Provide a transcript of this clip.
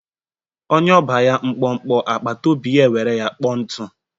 Onye ọba ya mkpọmkpọ agbataobi ya ewere ya kpoo ntụ.